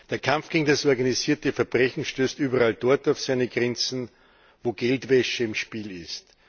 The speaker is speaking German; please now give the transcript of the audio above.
Der Kampf gegen das organisierte Verbrechen stößt überall dort auf seine Grenzen, wo Geldwäsche im Spiel ist.